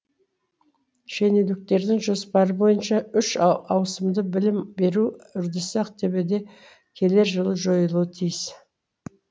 шенеуніктердің жоспары бойынша үш ауысымды білім беру үрдісі ақтөбеде келер жылы жойылуы тиіс